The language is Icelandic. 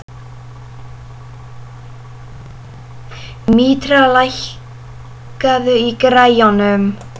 Mítra, lækkaðu í græjunum.